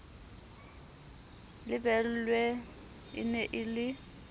lebelwe e ne e le